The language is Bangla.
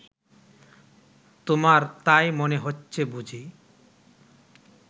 তোমার তাই মনে হচ্ছে বুঝি